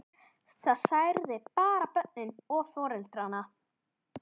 Það særði bara börnin og foreldrana.